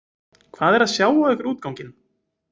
Hvað er að sjá á ykkur útganginn.